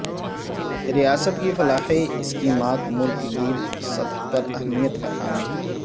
ریاست کی فلاحی اسکیمات ملک گیر سطح پر اہمیت کا حامل